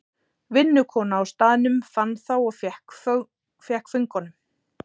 Vinnukona á staðnum fann þá og fékk föngunum.